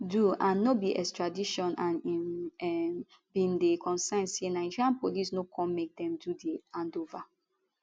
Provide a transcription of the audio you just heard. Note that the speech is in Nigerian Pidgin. do and no be extradition and im um bin dey concerned say nigeria police no come make dem do di handover